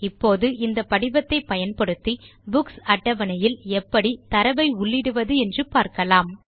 இப்போது இந்த படிவத்தை பயன்படுத்தி புக்ஸ் அட்டவணை யில் எப்படி தரவை உள்ளிடுவது என்றூ பார்க்கலாம்